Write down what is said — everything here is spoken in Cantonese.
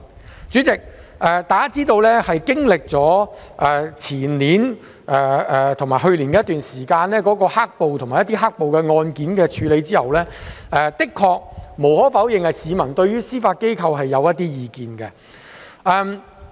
代理主席，大家知道經歷了前年及去年的一段時間，有關"黑暴"及其案件的處理後，無可否認市民的確對司法機構有一些意見。